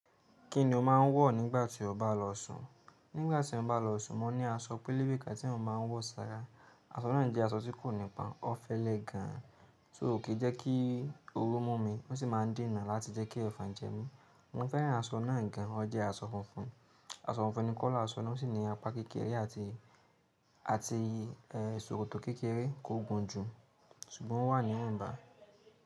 Kí ni o máa ń wọ̀ nígbà tí o bá lọ ṣùn? Nígbà tí mo bá lọ ṣùn, mo ní aṣọ pélébé ká tí mo máa ń wọ̀ sára. Aṣọ náà jẹ́ aṣọ tí kò nípọn, ó fẹ́lẹ́ gan an, so kí jẹ́ kí oru mú mi, ó sì máa ń dènà láti jẹ́ kí efàn jẹ mí. Mo fẹ́ràn aṣọ náà gan an, ó jẹ́ aṣọ funfun. Aṣọ funfun ni color aṣọ náà, ó sì ní apá kékeré àti, àti è sokòtò kékeré kó gùn jù, ṣùgbọ́n ó wà níwọ́n bà.